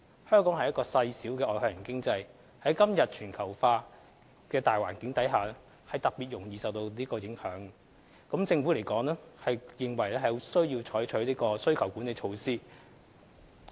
香港是個細小的外向型經濟，在今天全球化的大環境下特別容易受到這種影響，政府因而認為有需要採取需求管理措施。